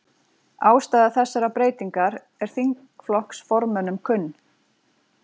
Ástæða þessarar breytingar er þingflokksformönnum kunn